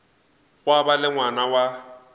gwa ba le ngwana wa